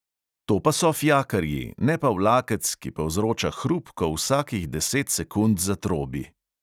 To pa so fijakarji, ne pa vlakec, ki povzroča hrup, ko vsakih deset sekund zatrobi!